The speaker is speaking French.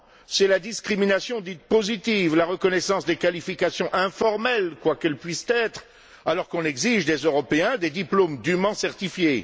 C'est la discrimination dite positive ou la reconnaissance des qualifications informelles, quelles qu'elles puissent être, alors qu'on exige des Européens des diplômes dûment certifiés